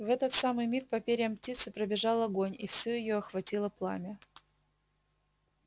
в этот самый миг по перьям птицы пробежал огонь и всю её охватило пламя